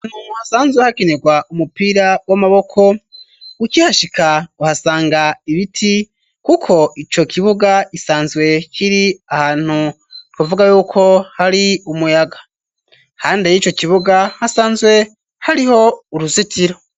Annt hasanzwe hakenerwa umupira w'amaboko uki hashika uhasanga ibiti, kuko ico kibuga isanzwe kiri ahantu kuvuga yuko hari umuyaga hande y'ico kibuga hasanzwe hariho uruzitiro.